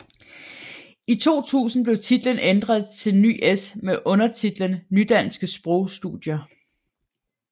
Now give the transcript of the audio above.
I 2000 blev titlen ændret til NyS med undertitlen Nydanske Sprogstudier